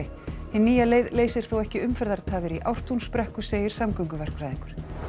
hin nýja leið leysir þó ekki umferðartafir í Ártúnsbrekku segir samgönguverkfræðingur